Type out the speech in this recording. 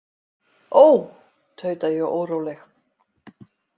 Ó, tauta ég óróleg.